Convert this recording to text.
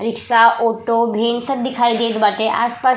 रिक्सा auto भी सब दिखाई देत बाटे आस पास --